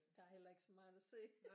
Der er heller ikke så meget at se